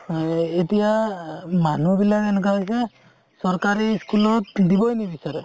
আ এতিয়া মানুহ বিলাক এনেকুৱা হৈছে চকাৰি school ত দিবৈ নিবিচাৰে